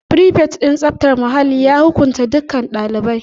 Frifet din tsaftar muhalli ya hukuntas dukkan ɗaliban